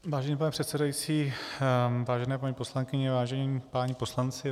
Vážený pane předsedající, vážené paní poslankyně, vážení páni poslanci.